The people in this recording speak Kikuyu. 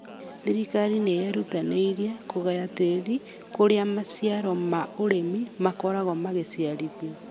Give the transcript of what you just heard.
thirikari nĩ yerutanĩirie kũgaya tĩri kũrĩa maciaro ma ũrĩmi makoragwo makiciarithio